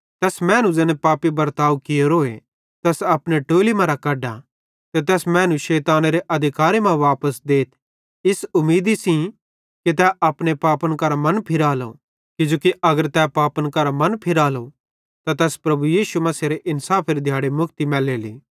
तैस मैनू ज़ैने पापी बर्ताव कियोरो तैस अपने टोली मरां कढा ते तैस मैनू शैतानेरे अधिकारे मां वापस देथ इस उमीदी सेइं कि तै अपने पापन करां मन फिरालो किजोकि अगर तै पापन करां मन फिरालो त तैस प्रभु यीशु मसीहेरे इन्साफेरे दिहाड़े मुक्ति मैलेली